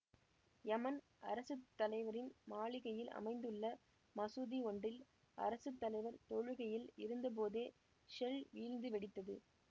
Yemen அரசு தலைவரின் மாளிகையில் அமைந்துள்ள மசூதி ஒன்றில் அரசு தலைவர் தொழுகையில் இருந்த போதே ஷெல் வீழ்ந்து வெடித்தது